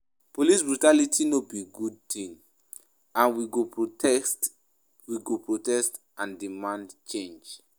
Police brutality no be good ting, and we go protest we go protest and demand change.